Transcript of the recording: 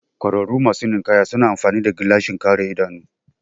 ƙwararru masu ninkaya suna amfani gilashin kare idanu